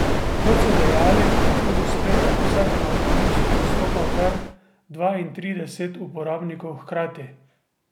Kot so dejali, lahko do spleta na vsakem avtobusu dostopa kar dvaintrideset uporabnikov hkrati.